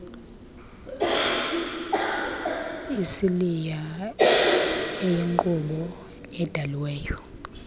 isiliya eyinkqubo edaliweyo